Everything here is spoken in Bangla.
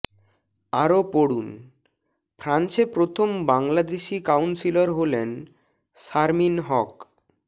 আরো পড়ুন ফ্রান্সে প্রথম বাংলাদেশি কাউন্সিলর হলেন শারমিন হক